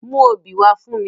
Mú obí wa fun mi!